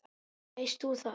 Veist þú það?